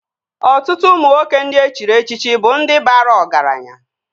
Ọtụtụ ụmụ nwoke ndị e chiri echichi bụ ndị bara ọgaranya